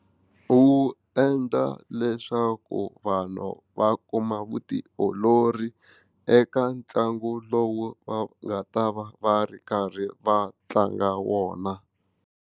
Wu endla leswaku vanhu va kuma vutiolori eka ntlangu lowu va nga ta va va ri karhi va tlanga wona.